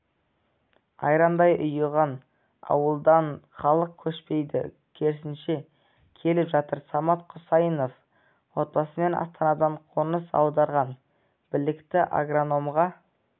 айрандай ұйыған ауылдан халық көшпейді керісінше келіп жатыр самат құсайынов отбасымен астанадан қоныс аударған білікті агрономға